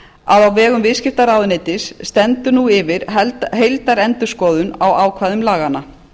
að á vegum viðskiptaráðuneytis stendur yfir heildarendurskoðun á ákvæðum laganna